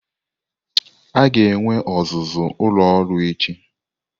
A ga-enwe ọzụzụ ụlọ ọrụ echi.